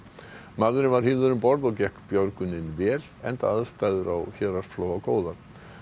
maðurinn var hífður um borð og gekk björgunin vel enda aðstæður á Héraðsflóa góðar